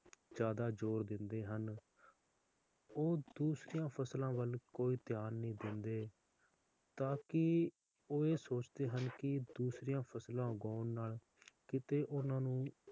ਜ਼ਯਾਦਾ ਜ਼ੋਰ ਦਿੰਦੇ ਹਨ ਉਹ ਦੂਸਰਿਆਂ ਫਸਲਾਂ ਵਲ ਕੋਈ ਧਿਆਨ ਨਹੀਂ ਦਿੰਦੇ ਤਾਂਕਿ ਉਹ ਇਹ ਸੋਚਦੇ ਹਨ ਕਿ ਦੂਸਰਿਆਂ ਫਸਲਾਂ ਉਗਾਉਣ ਨਾਲ ਕੀਤੇ ਓਹਨਾ ਨੂੰ,